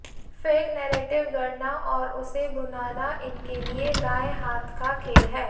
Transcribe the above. fake narrative गढ़ना और उसे भुनाना इनके लिए दाएँ हाथ का खेल है